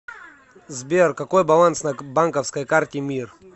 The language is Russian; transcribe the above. сбер какой баланс на банковской карте мир